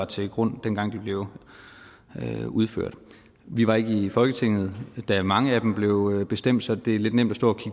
til grund dengang de blev udført vi var ikke i folketinget da mange af dem blev bestemt så det er lidt nemt at stå